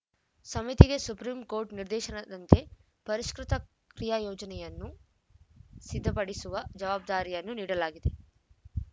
ಸಮಿತಿಗೆ ಸುಪ್ರೀಂಕೋರ್ಟ್‌ ನಿರ್ದೇಶನದಂತೆ ಪರಿಷ್ಕೃತ ಕ್ರಿಯಾಯೊಜನೆಯನ್ನು ಸಿದ್ಧಪಡಿಸುವ ಜವಾಬ್ದಾರಿಯನ್ನು ನೀಡಲಾಗಿದೆ